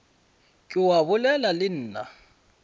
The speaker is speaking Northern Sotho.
ke wa bolela le nna